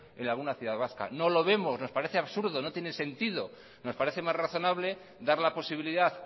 en alguna ciudad vasca no lo vemos nos parece absurdo no tiene sentido nos parece más razonable dar la posibilidad